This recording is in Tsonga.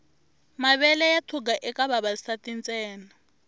mavele ya thuga eka vavasati ntsena